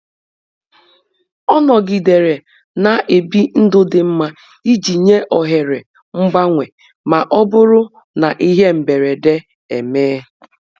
Ọ nọgidere na-ebi ndụ dị mma iji nye ohere mgbanwe ma ọ bụrụ na ihe mberede emee.